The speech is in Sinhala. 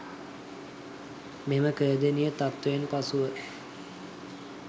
මෙම ඛේදනීය තත්ත්වයෙන් පසුව